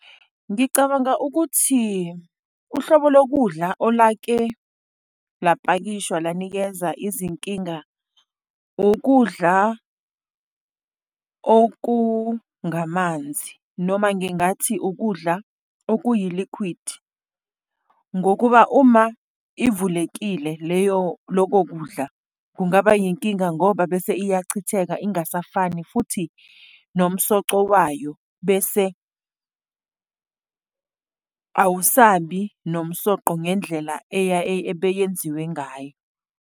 Ngicabanga ukuthi uhlobo lokudla olake lapakishwa, lanikeza izinkinga, ukudla okungamanzi, noma ngingathi ukudla okuyi-liquid. Ngokuba uma ivulekile leyo, lokho kudla, kungaba inkinga ngoba bese iyachitheka, ingasafani, futhi nomsoco wayo, bese awusabi nomsoqo ngendlela ebeyenziwe ngayo.